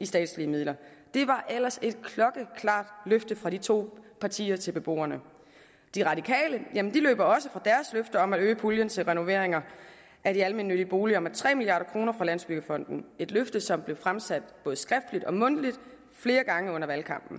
i statslige midler det var ellers et klokkeklart løfte fra de to partier til beboerne de radikale løber også fra deres løfter om at øge puljen til renoveringer af de almennyttige boliger med tre milliard kroner fra landsbyggefonden et løfte som blev fremsat både skriftligt og mundtligt flere gange under valgkampen